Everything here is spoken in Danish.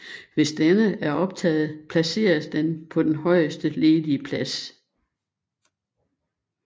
Hvis denne er optaget placeres den på den højest ledige plads